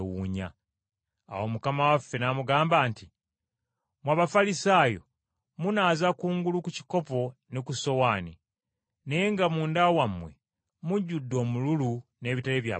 Awo Mukama waffe n’amugamba nti, “Mmwe Abafalisaayo, munaaza kungulu ku kikopo ne ku ssowaani, naye nga munda wammwe mujjudde omululu n’ebitali bya butuukirivu.